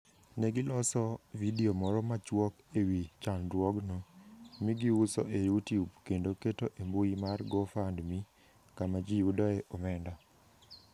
Ne giloso vidio moro machuok e wi chandruogno, mi giuso e YouTube, kendo keto e mbui mar GoFundMe kama ji yudoe omenda.